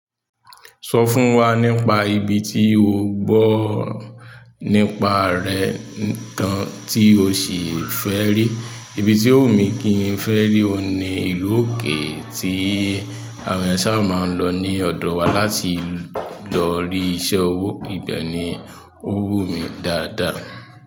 Sọ fún wa nípa ibi tí o gbọ nípa rẹ̀ nǹkan tí o sì fẹ́ rí. Ibi tí o wumi kí n fẹ́ rí òun ni ìlú òkè tí àwọn eeyan sa máa ń lọ ní ọ̀dọ wa láti lọ rí iṣẹ́ owó. Ìbẹ ni o wumi dáadáa.